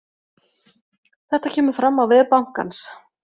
Þetta kemur fram á vef bankans